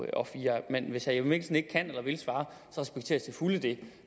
og fire men hvis herre jeppe mikkelsen ikke kan eller vil svare respekterer jeg til fulde det